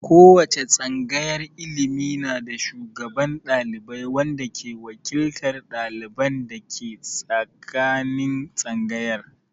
Ko wace tsangayar ilimi na da shugaban ɗalibai wanda ke wakiltan dalibai dake tsakanin tsangayar.